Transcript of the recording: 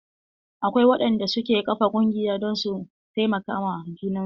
Akwai waɗanda suke ƙafa ƙungiya don su taimaka ma junan su.